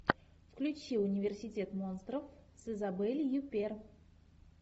включи университет монстров с изабель юппер